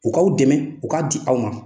U k'aw dɛmɛ , u k'a di aw ma.